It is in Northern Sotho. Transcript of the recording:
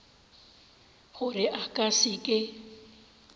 gore a ka se ke